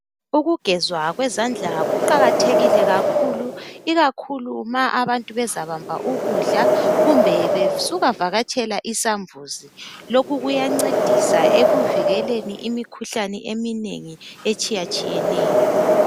Ukugezwa kwezandla kuqakathekile kakhulu ikakhulu ma abantu bezabamba ukudla kumbe besuka vakatshela isambuzi lokhu kuyancedisa ekuvikeleni imikhuhlaneni eminengi etshiyatshiyeneyo.